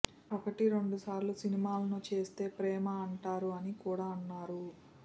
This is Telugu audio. ఒకటి రెండు సార్లు సినిమాలను చేస్తే ప్రేమ అంటారు అని కూడా అన్నారు